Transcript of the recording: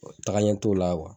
taga ɲɛ t'o la